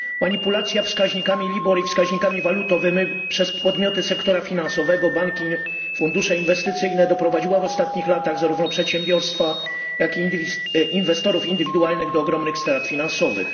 Manipulacja wskaźnikami LIBOR i wskaźnikami walutowymi przez podmioty sektora finansowego, banki i inne fundusze inwestycyjne doprowadziła w ostatnich latach zarówno przedsiębiorstwa, jak i inwestorów indywidualnych do ogromnych strat finansowych.